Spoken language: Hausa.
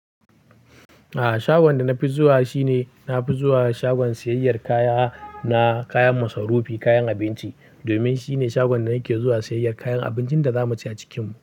A'a, shagon da na fi zuwa shine na fi zuwa shagon siyayyar kaya, na kayan masarufi, kayan abinci. Domin shine shagon da nake zuwa siyayyar kayan abincin da za mu ci a cikin mu.